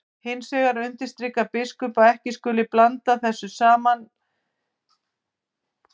Hins vegar undirstrikar biskup að ekki skuli blanda saman þessum tveim sambúðarformum.